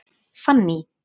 Fanný